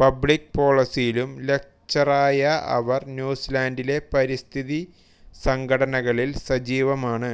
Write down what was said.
public പോളിസിയിലും ലക്ചററായ അവർ ന്യൂസിലൻഡിലെ പരിസ്ഥിതി സംഘടനകളിൽ സജീവമാണ്